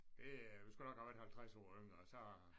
Det du skulle nok have været 50 år yngre så